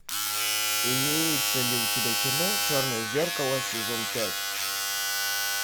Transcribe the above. имеется ли у тебя кино черное зеркало сезон пять